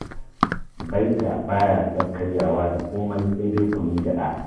Baita ba ya son karyawa da komai sai dai kunun gyaɗa